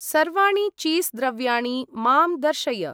सर्वाणि चीस् द्रव्याणि मां दर्शय।